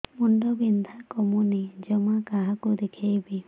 ମୁଣ୍ଡ ବିନ୍ଧା କମୁନି ଜମା କାହାକୁ ଦେଖେଇବି